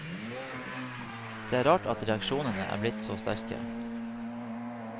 Det er rart at reaksjonene er blitt så sterke.